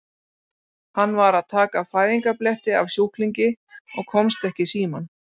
Hann var að taka fæðingarbletti af sjúklingi og komst ekki í símann.